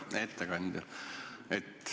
Hea ettekandja!